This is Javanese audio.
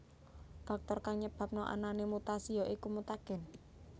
Faktor kang nyebabna anané mutasi ya iku mutagen